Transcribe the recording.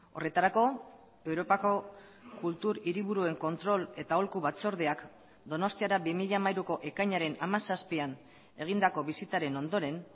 horretarako europako kultur hiriburuen kontrol eta aholku batzordeak donostiara bi mila hamairuko ekainaren hamazazpian egindako bisitaren ondoren